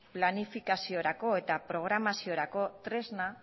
planifikaziorako eta programaziorako tresna